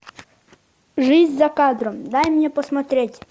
жизнь за кадром дай мне посмотреть